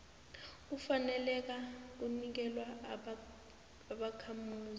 ufaneleka kunikelwa ubakhamuzi